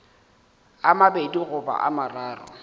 a mabedi goba a mararo